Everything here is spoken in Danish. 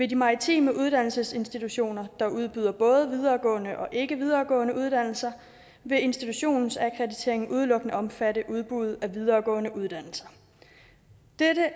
de maritime uddannelsesinstitutioner der udbyder både videregående og ikkevideregående uddannelser vil institutionsakkrediteringen udelukkende omfatte udbuddet af videregående uddannelser dette